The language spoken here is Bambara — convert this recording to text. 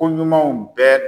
Ko ɲumanw bɛɛ